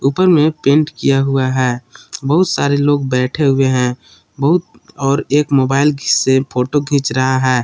ऊपर में पेंट किया हुआ है बहुत सारे लोग बैठे हुए हैं बहुत और एक मोबाइल से फोटो खींच रहा है।